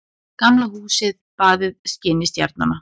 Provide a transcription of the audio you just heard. Gamla húsið baðað skini stjarnanna.